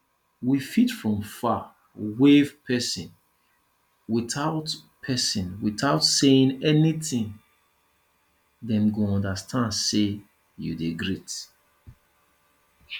we fit from far wave person without person without saying anything dem go understand sey you dey greet